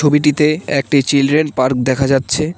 ছবিটিতে একটি children park দেখা যাচ্ছে।